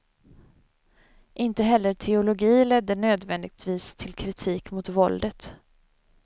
Inte heller teologi ledde nödvändigtvis till kritik mot våldet.